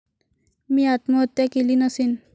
मी आत्महत्या केली नसेन.